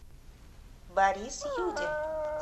борис юдин